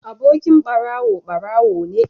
Abokin barawo barawo ne